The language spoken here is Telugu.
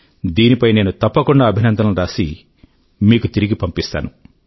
దీనిపై నేను తప్పకుండా అభినందనలు అని రాసి మీకు తిరిగి పంపిస్తాను